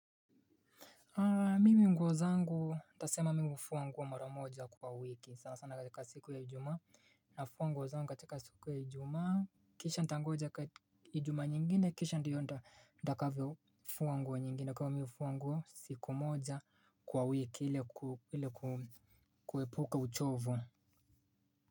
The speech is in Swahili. Mimi nguo zangu nitasema mimi fuwa nguo maramoja kwa wiki sana sana katika siku ya ijumaa nafuwa nguo zangu katika siku ya ijumaa. Kisha ntangoja ka, ijumaa nyingine kisha ndiyo nta, ntakavyo fuwa nguo nyingine kwa hiyo mi fuwa nguo siku moja kwa wiki ile kuepuka uchovu.